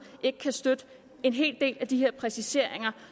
ikke kan støtte en hel del af de her præciseringer